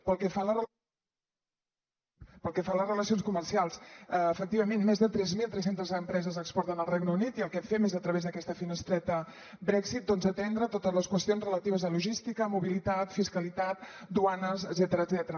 pel que fa a les relacions comercials efectivament més de tres mil tres cents empreses exporten al regne unit i el que fem és a través d’aquesta finestreta brexit doncs atendre totes les qüestions relatives a logística mobilitat fiscalitat duanes etcètera